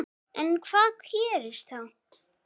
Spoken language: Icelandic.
En hvað gerist þá?